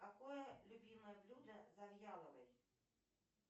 какое любимое блюдо завьяловой